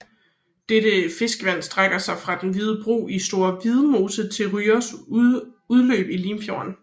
Dette fiskevand strækker sig fra Den Hvide Bro i Store Vildmose til Ryås udløb i Limfjorden